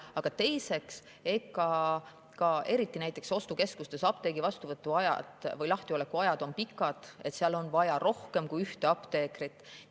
Aga teiseks, eriti näiteks ostukeskustes on apteegid pikalt lahti, seal on vaja rohkem kui ühte apteekrit.